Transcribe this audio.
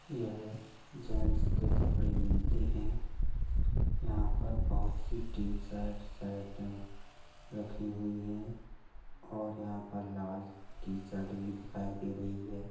यह जेंट्स के कपड़े मिलते हैं। यहाँ पर बहुत सी टी-शर्ट शर्टें रखी हुई है और यहाँ पर लाल टी-शर्ट भी दिखाई दे रही है।